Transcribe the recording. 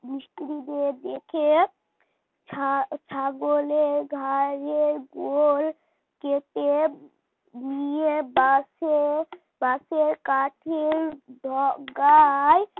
মিস্ত্রি দিয়ে ডেকে ছা ছাগলের গায়ের গোল কেটে নিয়ে বাঁশের বাঁশের কাঠির ডগায়